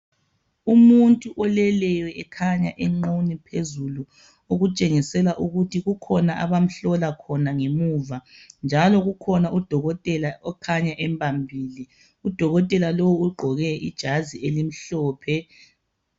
Umuntu oleleyo ekhanya enqunu okutshengisela ukuthi kukhona abamhlola khona ngemuva njalo kukhona udokotela okhanya embambile. Udokotela lowo ugqoke ijazi elimhlophe.